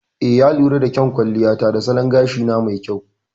Eh, ya lura da kyan kwalliya ta da salon gashina mai kyau.